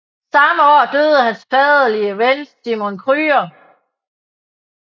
Samme år døde hans faderlige ven Simon Krüger